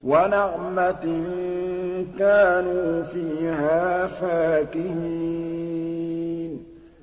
وَنَعْمَةٍ كَانُوا فِيهَا فَاكِهِينَ